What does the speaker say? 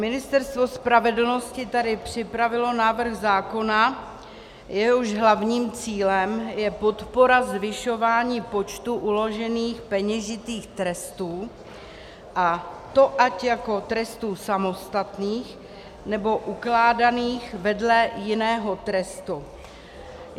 Ministerstvo spravedlnosti tady připravilo návrh zákona, jehož hlavním cílem je podpora zvyšování počtu uložených peněžitých trestů, a to ať jako trestů samostatných, nebo ukládaných vedle jiného trestu.